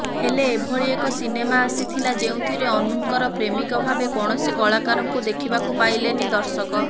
ହେଲେ ଏଭଳି ଏକ ସିନେମା ଆସଥିଲା ଯେଉଁଥିରେ ଅନୁଙ୍କର ପ୍ରେମିକ ଭାବେ କୌଣସି କଳାକାରଙ୍କୁ ଦେଖିବାକୁ ପାଇଲେନି ଦର୍ଶକ